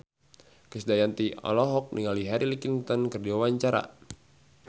Krisdayanti olohok ningali Hillary Clinton keur diwawancara